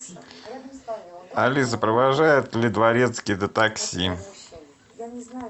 алиса провожает ли дворецкий до такси